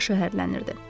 Başı hərlənirdi.